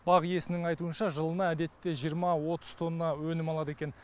бақ иесінің айтуынша жылына әдетте жиырма отыз тонна өнім алады екен